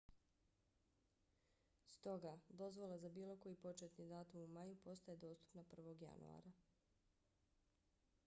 stoga dozvola za bilo koji početni datum u maju postaje dostupna 1. januara